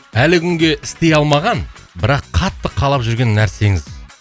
әлі күнге істей алмаған бірақ қатты қалап жүрген нәрсеңіз